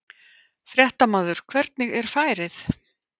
Fréttamaður: Hvernig er færið?